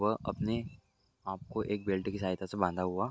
वो अपने आप को एक बेल्ट की सहयता से बांधा हुआ --